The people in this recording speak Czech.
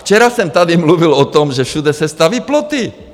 Včera jsem tady mluvil o tom, že všude se staví ploty.